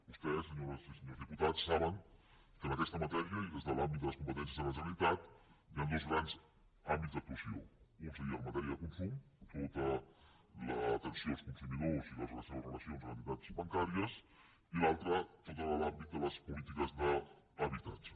vostès senyores i senyors diputats saben que en aquesta matèria i des de l’àmbit de les competències de la generalitat hi ha dos grans àmbits d’actuació un seria en matèria de consum tota l’atenció als consumidors i les seves relacions amb entitats bancàries i l’altre tot l’àmbit de les polítiques d’habitatge